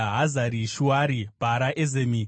Hazari Shuari, Bhara, Ezemi,